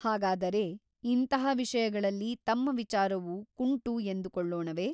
ಹಾಗಾದರೆ ಇಂತಹ ವಿಷಯಗಳಲ್ಲಿ ತಮ್ಮ ವಿಚಾರವು ಕುಂಟು ಎಂದು ಕೊಳ್ಳೋಣವೆ ?